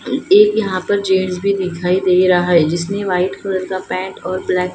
एक यहाँ पर जेंट्स भी दिखायी दे रहा हैं जिसने वाइट कलर का पेंट और ब्लैक ।